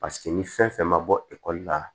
Paseke ni fɛn fɛn ma bɔ ekɔli la